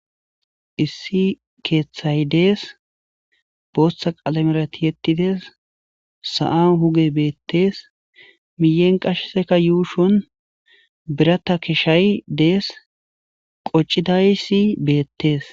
Issi keththay dees Botha qalamera tiyetides sa'an hugey betes miyen qaseka yushon biratta kishay des qocidaysi bettes